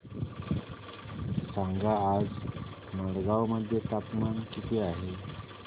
सांगा आज मडगाव मध्ये तापमान किती आहे